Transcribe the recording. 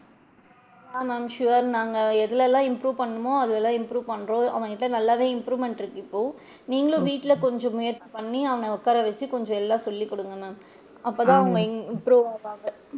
ஆஹ் ma'am sure நாங்க எதுலல improve பண்ணணுமோ அதுலலா improve பண்றோம் அவன்கிட்ட நல்லா தான் improvement இருக்கு இப்போ நீங்களும் வீட்ல கொஞ்சம் முயற்சி பண்ணி அவன உட்கார வச்சு கொஞ்சம் எல்லா சொல்லி குடுங்க ma'am அப்ப தான் அவுங்க improve ஆவாங்க.